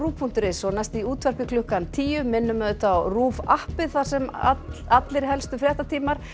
punktur is og næst í útvarpi klukkan tíu minnum á RÚV appið þar sem alla helstu fréttatíma er